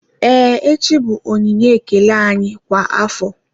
Ee echi bụ onyinye ekele anyị kwa afọ